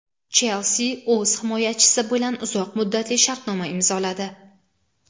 "Chelsi" o‘z himoyachisi bilan uzoq muddatli shartnoma imzoladi;.